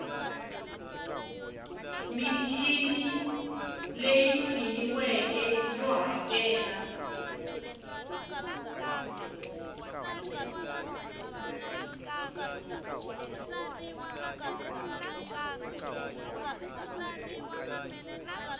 michini leyi pimiweke yo hakela